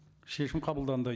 шешім қабылданды